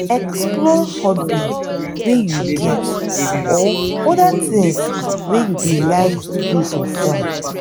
explore hobbies wey you get or oda things wey you dey like do for fun